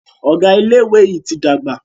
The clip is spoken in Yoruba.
Ọgá ilé ìwé yí tí dàgbà.